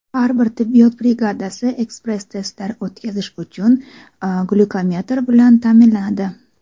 Har bir tibbiyot brigadasi ekspress-testlar o‘tkazish uchun glyukometr bilan ta’minlanadi.